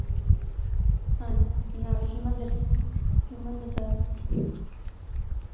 ਹਾਂ ਨਾਲੇ ਹਰਮੰਦਰ ਹਰਿਮੰਦਰ ਸਾਹਿਬ